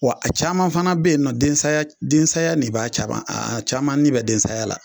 Wa a caman fana bɛ yen nɔ den saya den saya ne b'a caman a caman ni bɛ den saya la.